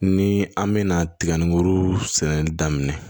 Ni an mɛna tiga in kuru sɛnɛ daminɛ